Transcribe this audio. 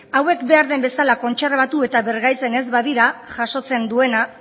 hauek behar den bezala kontserbatu eta birgaitzen ez badira jasotzen duena